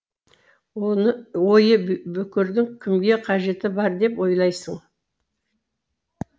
ойы бүкірдің кімге қажеті бар деп ойлайсың